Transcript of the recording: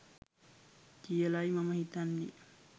කියලයි මම හිතන්නේ